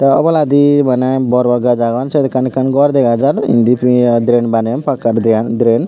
tey oboladi bana bor bor gaaj agon syot ekkan ekkan gor dega jar indi pi drain baneyon pakkar dre drain.